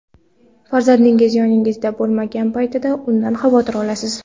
Farzandingiz yoningizda bo‘lmagan paytda undan xavotir olasiz.